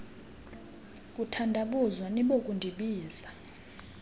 kuthandabuza nibo kundibiza